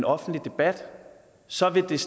om noget så vigtigt